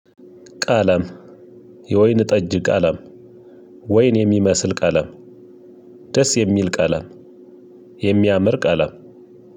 ቀለም የወይን ጠጅ ቀለም ወይን የሚመስል ቀለም ደስ የሚል ቀለም የሚያምር ቀለም።